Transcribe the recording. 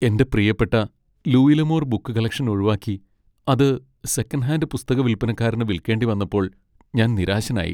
എന്റെ പ്രിയപ്പെട്ട Louis L'Amour book collection ഒഴിവാക്കി അത് സെക്കൻഡ് ഹാൻഡ് പുസ്തക വിൽപ്പനക്കാരന് വിൽക്കേണ്ടി വന്നപ്പോൾ ഞാൻ നിരാശനായി.